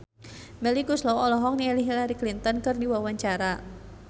Melly Goeslaw olohok ningali Hillary Clinton keur diwawancara